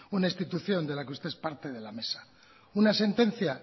una institución de la que usted es parte de la mesa una sentencia